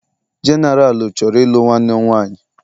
Genaralu chọrọ ịlụ nwanne m nwanyị.